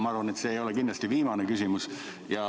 Ma arvan, et see ei ole kindlasti viimane küsimus.